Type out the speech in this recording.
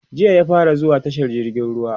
jiya ya fara zuwa tashar jirgin ruwa